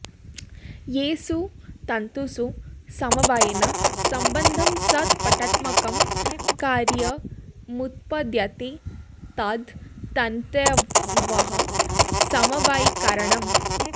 येषु तन्तुषु समवायेन सम्बद्धं सत् पटात्मकं कार्यमुत्पद्यते तद् तन्तवः समवायिकारणम्